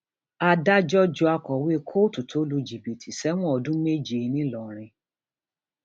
adájọ ju akọwé kóòtù tó lu jìbìtì sẹwọn ọdún méje ńìlọrin